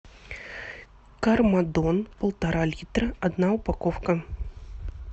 кармадон полтора литра одна упаковка